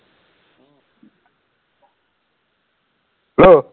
Hello